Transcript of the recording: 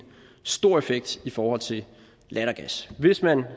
stor effekt i forhold til lattergas hvis man